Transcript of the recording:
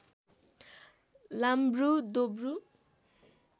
लाम्ब्रु दोब्रु